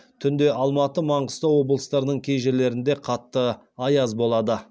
түнде алматы маңғыстау облыстарының кей жерлерінде қатты аяз болады